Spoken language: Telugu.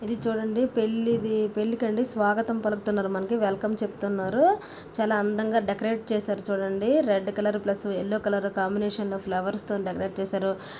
ఇధి చూడండి పెళ్లిధి పెళ్లి కీ అండి స్వాగతం పలుకుతున్నారు మనకి వెల్కమ్ చెప్తున్నారు చాలా అందంగా డెకోరాట్ చేశారు చూడండి red colour plus yellow colour combination తో ఫ్లవర్స్ తోని డెకోరాట్ చేశారు.